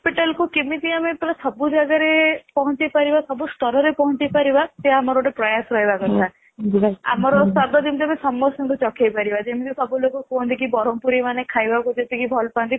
capital କୁ କେମିତି ଆମେ ପୁରା ସବୁ ଜାଗାରେ ପହଞ୍ଚେଇପାରିବା ସବୁ ସ୍ତର ରେ ପହଞ୍ଚେଇପାରିବା ସେ ଆମର ଗୋଟେ ପ୍ରୟାସ ରହିବା କଥା ଆମ ସ୍ଵାଦ ଯେମିତି ସମସ୍ତଙ୍କୁ ଚଖେଇପାରିବା ଯେମିତି ସବୁ ଲୋକ କୁହନ୍ତି କି ବ୍ରହ୍ମପୁରି ମାନେ ଖାଇବାକୁ ଯେତିକି ଭଲପାନ୍ତି